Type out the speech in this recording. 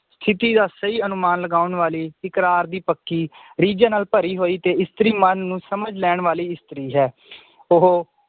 ਸਥਿਤੀਤ ਦਾ ਸਹੀ ਅਨੁਮਾਨ ਲਗਾਉਣ ਵਾਲੀ ਇਕਰਾਰ ਦੀ ਪੱਕੀ ਰੀਝ ਨਾਲ ਭਰੀ ਹੋਈ ਤੇ ਇਸਤਰੀ ਮਨ ਨੂੰ ਸਮਝ ਲੈਣ ਵਾਲੀ ਇਸਤਰੀ ਹੈ ਉਹ